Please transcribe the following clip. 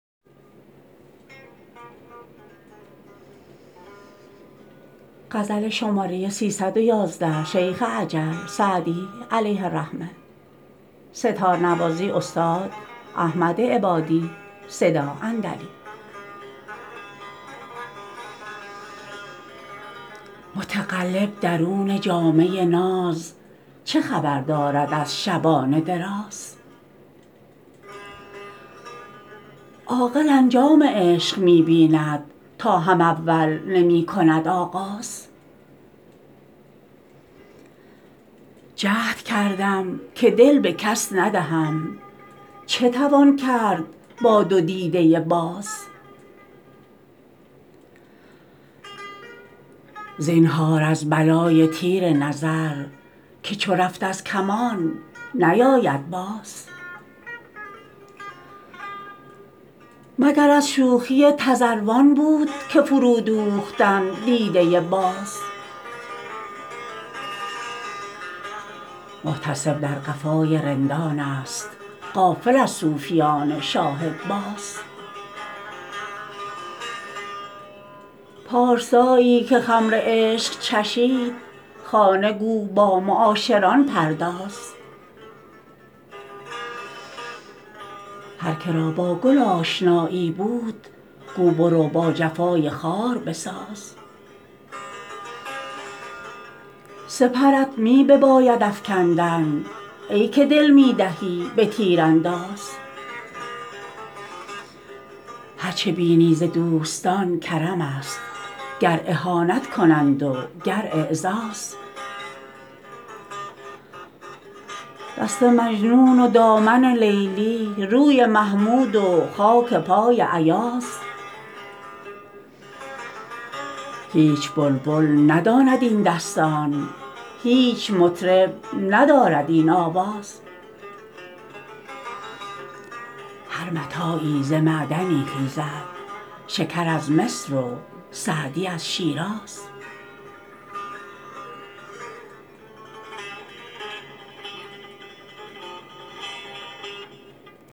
متقلب درون جامه ناز چه خبر دارد از شبان دراز عاقل انجام عشق می بیند تا هم اول نمی کند آغاز جهد کردم که دل به کس ندهم چه توان کرد با دو دیده باز زینهار از بلای تیر نظر که چو رفت از کمان نیاید باز مگر از شوخی تذروان بود که فرودوختند دیده باز محتسب در قفای رندانست غافل از صوفیان شاهدباز پارسایی که خمر عشق چشید خانه گو با معاشران پرداز هر که را با گل آشنایی بود گو برو با جفای خار بساز سپرت می بباید افکندن ای که دل می دهی به تیرانداز هر چه بینی ز دوستان کرمست گر اهانت کنند و گر اعزاز دست مجنون و دامن لیلی روی محمود و خاک پای ایاز هیچ بلبل نداند این دستان هیچ مطرب ندارد این آواز هر متاعی ز معدنی خیزد شکر از مصر و سعدی از شیراز